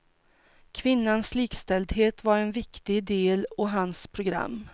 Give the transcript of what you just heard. Kvinnans likställdhet var en viktig del av hans program.